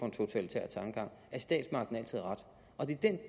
en totalitær tankegang og at statsmagten altid har ret det er den